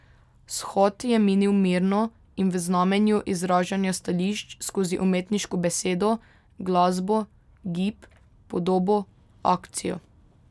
Shod je minil mirno in v znamenju izražanja stališč skozi umetniško besedo, glasbo, gib, podobo, akcijo.